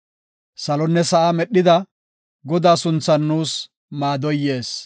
Salonne sa7aa medhida, Godaa sunthan nuus maadoy yees.